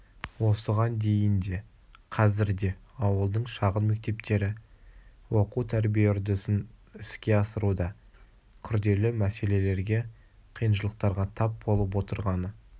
осыған дейін де қазір де ауылдың шағын мектептері оқу-тәрбие үрдісін іске асыруда күрделі мәселелерге қиыншылықтарға тап болып отырғаны